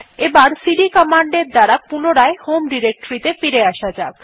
এবার CD command এর দ্বারা পুনরায় হোম ডিরেক্টরী ত়ে ফিরে আসা যাক